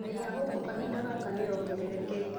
Bei ya ngũkũkahinda gaka nĩyongererekeire